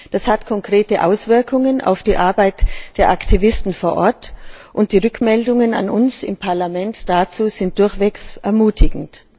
Das hat konkrete Auswirkungen auf die Arbeit der Aktivisten vor Ort, und die Rückmeldungen an uns im Parlament dazu sind durchweg ermutigend.